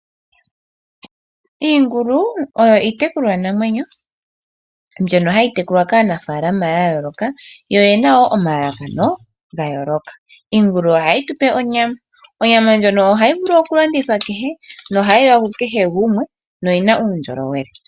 Iingulu oyo iitekulwa namwenyo mbyoka hayi tekulwa kaanafalama ya yooloka, yo oyena wo omalalakano ga yooloka. Iingulu ohayi tupe onyama, onyama ndjoka ohayi vulu oku landithwa ku kehe, nohayi liwa ku kehe gumwe, na oyina undjolowele.